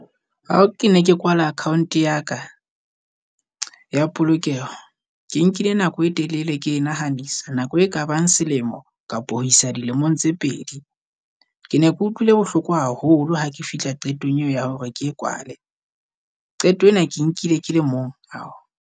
Ao ke ne ke kwala account ya ka ya polokeho, ke nkile nako e telele ke nahanisa nako e kabang selemo kapa ho isa dilemong tse pedi. Ke ne ke utlwile bohloko haholo ha ke fihla qetong eo ya hore ke e kwale, qeto ena ke e nkile ke le mong ao.